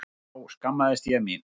Þá skammaðist ég mín.